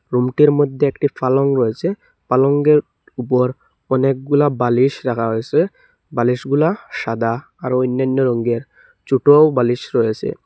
রুমটির মধ্যে একটি পালং রয়েছে পালংয়ের উপর অনেকগুলা বালিশ রাখা হয়েছে বালিশ গুলা সাদা আর অন্যান্য রঙের ছোটও বালিশ রয়েছে।